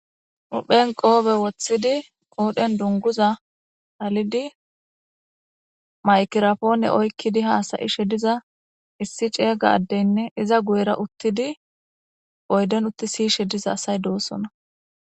Huphen qoobe woththidi qoodhen dunguza halidi maykirapoone oykkidi haasayishe diza issi ceeyga addeynne iza guyera uttidi oyden utti siyishe diza asay doossona